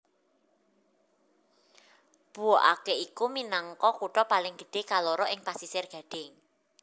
Bouaké iku minangka kutha paling gedhé kaloro ing Pasisir Gadhing